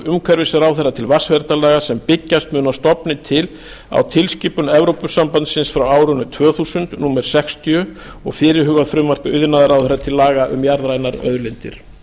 umhverfisráðherra til vatnsverndarlaga sem byggjast mun að stofni til á tilskipun evrópusambandsins frá árinu tvö þúsund númer sextíu og fyrirhugað frumvarp iðnaðarráðherra til laga um jarðrænar auðlindir